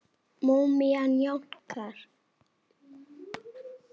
Múmían jánkar.